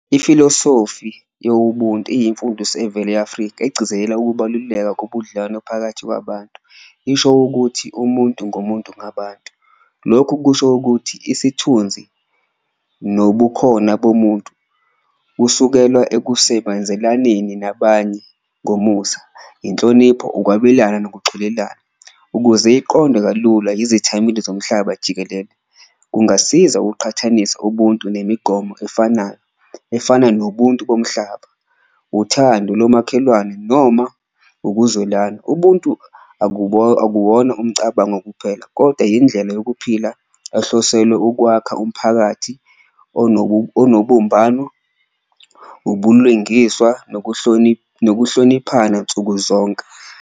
Ifilosofi yobuntu iyimfundiso evela e-Afrika egcizelela ukubaluleka kobudlelwano phakathi kwabantu, isho ukuthi umuntu ngumuntu ngabantu. Lokhu kusho ukuthi isithunzi nobukhona bomuntu kusukelwa ekusebenzelaneni nabanye ngomusa, inhlonipho, ukwabelana nokuxolelana ukuze iqondwe kalula izethameli zomhlaba jikelele kungasiza ukuqhathanisa ubuntu nemigomo efanayo, efana nobuntu bomhlaba, uthando lomakhelwane noma ukuzwelana. Ubuntu akuwona umcabango kuphela koda indlela yokuphila ehlosele ukwakha umphakathi onobumbano, ubulwengiswa nokuhloniphana nsukuzonke.